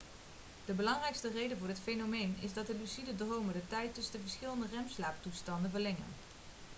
de belangrijkste reden voor dit fenomeen is dat lucide dromen de tijd tussen de verschillende rem-slaaptoestanden verlengen